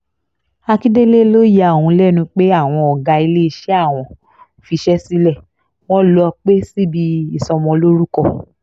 akíndélé ló ya òun lẹ́nu pé àwọn ọ̀gá iléeṣẹ́ àwọn fiṣẹ́ sílẹ̀ wọn lóò pẹ́ síbi ìsọmọlórúkọ